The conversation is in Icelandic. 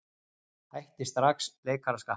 Hætti strax leikaraskapnum.